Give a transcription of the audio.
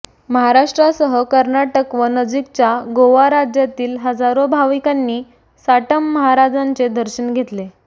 महाराष्ट्रासह कर्नाटक व नजीकच्या गोवा राज्यातील हजारो भाविकांनी साटम महाराजांचे दर्शन घेतले